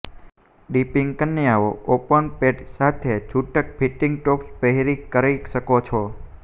dipping કન્યાઓ open પેટ સાથે છૂટક ફિટિંગ ટોપ્સ પહેરે કરી શકો છો